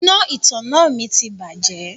Iná ìtanná mi ti bàjẹ́.